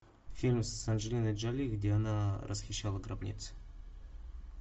фильм с анджелиной джоли где она расхищала гробницы